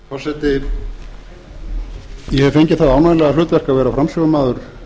forseti ég hef fengið það ánægjulega hlutverk að vera framsögumaður